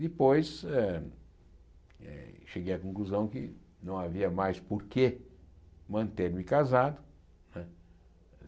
Depois eh, cheguei à conclusão que não havia mais por que manter-me casado. Né